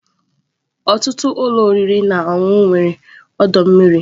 Ọtụtụ ụlọ oriri na ọṅụṅụ nwere ọdọ mmiri.